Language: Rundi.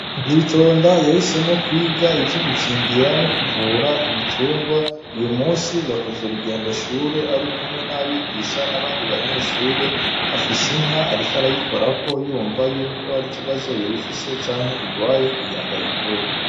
Nzitonda yahisemwo ivyo kwiga ivyo gukingira no kuvura ibitungwa uyu munsi yakoze urugendo shure arikumwe n'abagisha n'abandi banyeshure afise inka ariko arayikorako yumva yuko hari ikibazo yoba ifise canke irwaye kugirango ayivure.